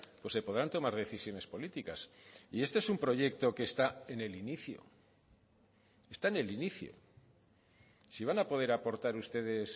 pues se podrán tomar decisiones políticas y este es un proyecto que está en el inicio está en el inicio si van a poder aportar ustedes